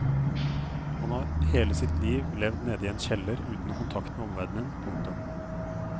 Han har hele sitt liv levd nede i en kjeller uten kontakt med omverdenen. punktum